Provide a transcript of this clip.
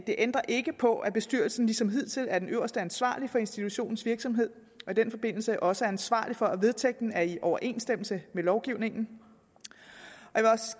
det ændrer ikke på at bestyrelsen ligesom hidtil er den øverste ansvarlige for institutionens virksomhed og i den forbindelse også er ansvarlig for at vedtægten er i overensstemmelse med lovgivningen